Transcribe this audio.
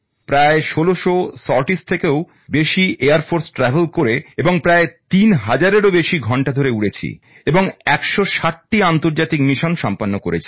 প্রায় ১৬০০ সরটিস থেকেও বেশি বিমান পরিবহণ করে এবং প্রায় তিন হাজারেরও বেশি ঘন্টা ধরে উড়েছি এবং ১৬০ টি আন্তর্জাতিক মিশন সম্পন্ন করেছি